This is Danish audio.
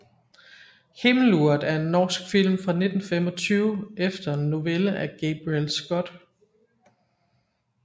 Himmeluret er en norsk film fra 1925 efter en novelle af Gabriel Scott